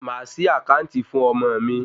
Màá ṣí àkáàntì fún ọmọ mi.